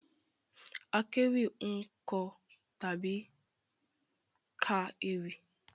Àkéwì ń kọ tàbí ka ewì